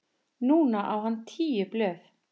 Núna á hann tíu blöð.